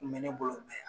Kun bɛ ne bolo mɛ